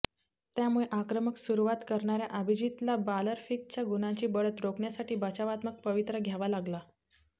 त्यामुळे आक्रमक सुरवात करणाऱया अभिजीतला बालारफिकच्या गुणांची बढत रोखण्यासाठी बचावात्मक पवित्रा घ्यावा लागला